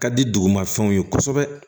Ka di dugumafɛnw ye kosɛbɛ